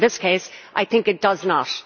In this case, I think it does not.